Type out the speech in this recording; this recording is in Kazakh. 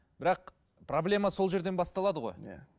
бірақ проблема сол жерден басталады ғой иә